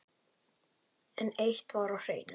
En eitt var á hreinu.